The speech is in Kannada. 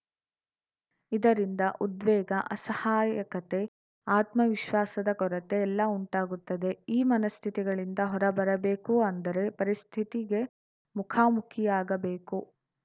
ಇದರಿಂದ ಉದ್ವೇಗ ಅಸಹಾಯಕತೆ ಆತ್ಮ ವಿಶ್ವಾಸದ ಕೊರತೆ ಎಲ್ಲ ಉಂಟಾಗುತ್ತದೆ ಈ ಮನಸ್ಥಿತಿಗಳಿಂದ ಹೊರಬರಬೇಕು ಅಂದರೆ ಪರಿಸ್ಥಿತಿಗೆ ಮುಖಾಮುಖಿಯಾಗಬೇಕು